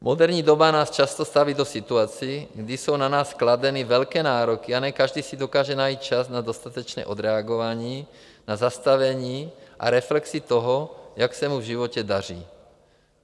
Moderní doba nás často staví do situací, kdy jsou na nás kladeny velké nároky, a ne každý si dokáže najít čas na dostatečné odreagování, na zastavení a reflexi toho, jak se mu v životě daří.